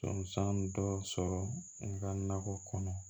Sɔn san dɔ sɔrɔ n ka nakɔ kɔnɔ